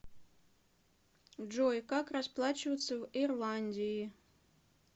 джой как расплачиваться в ирландии